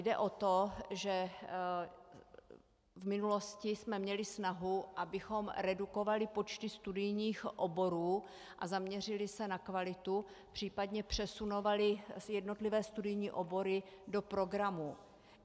Jde o to, že v minulosti jsme měli snahu, abychom redukovali počty studijních oborů a zaměřili se na kvalitu, případně přesunovali jednotlivé studijní obory do programů.